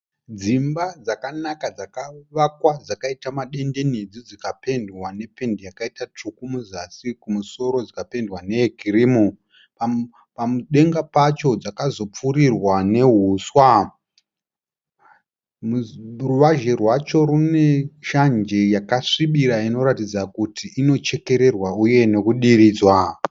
Dzimba dzakanaka dzakavakwa dzakaita madenderedzwa dzikapendwa nependi yakaita tsvuku muzasi. Kumusoro dzikapendwa neyekirimu. Padenga pacho dzakazopfurirwa nehuswa. Ruvazhe rwacho rwune shanje yakasvibira inoratidza kuti inochekererwa uye nekudiridzwa.